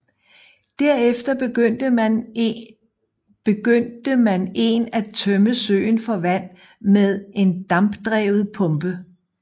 Derefter begyndte man en at tømme søen for vand med en dampdrevet pumpe